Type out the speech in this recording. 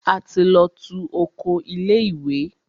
A ti lọ tú oko ilé ìwé.